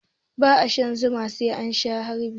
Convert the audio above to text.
Ba a shan Zuma sai an Sha harbi.